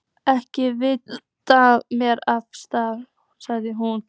Ekki veitir þér af, sagði hún.